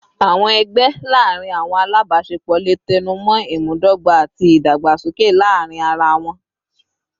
Awọn ẹgbẹ laarin awọn alabaṣepọ le tẹnumọ imudogba ati idagbasoke laarin ara wọn